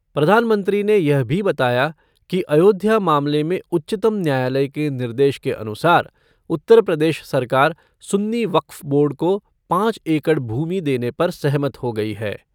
प्रधानमंत्री ने यह भी बताया कि अयोध्या मामले में उच्चतम न्यायालय के निर्देश के अनुसार उत्तरप्रदेश सरकार सुन्नी वक्फ़ बोर्ड को पाँच एकड़ भूमि देने पर सहमत हो गई है।